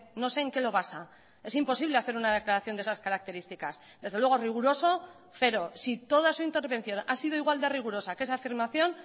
no sé en que lo basa es imposible hacer una declaración de esas características desde luego riguroso cero si toda su intervención ha sido igual de rigurosa que esa afirmación